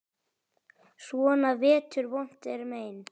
Svona vetur vont er mein.